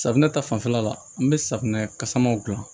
Safunɛ ta fanfɛla la an bɛ safunɛ kasamanw gilan